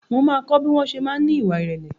Mo ma kọ́ bí wọn ṣe máa ń ní ìwà irẹ̀lẹ̀